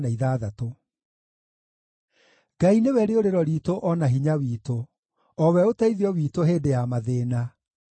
Ngai nĩwe rĩũrĩro riitũ o na hinya witũ, o we ũteithio witũ hĩndĩ ya mathĩĩna.